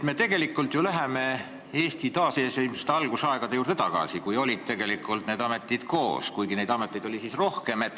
Me läheme ju Eesti taasiseseisvuse algusaegade juurde tagasi, kui need ametid olid koos, kuigi ameteid oli siis rohkem.